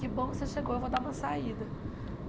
Que bom que você chegou, eu vou dar uma saída.